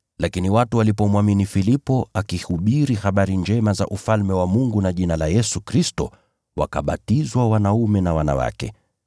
Lakini watu walipomwamini Filipo alipohubiri habari njema za Ufalme wa Mungu na jina la Yesu Kristo, wakabatizwa wanaume na wanawake.